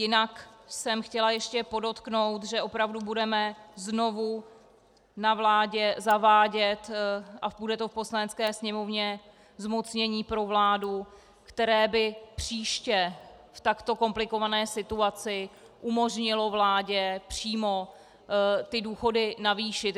Jinak jsem chtěla ještě podotknout, že opravdu budeme znovu na vládě zavádět - a bude to v Poslanecké sněmovně - zmocnění pro vládu, které by příště v takto komplikované situaci umožnilo vládě přímo ty důchody navýšit.